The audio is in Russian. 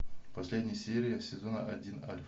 последняя серия сезона один альф